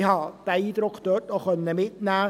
Diesen Eindruck konnte ich auch mitnehmen.